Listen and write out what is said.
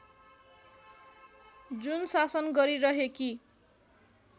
जुन शासन गरिरहेकी